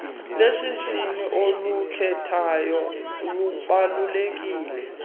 lwesihshini olukhethayo lubaluleke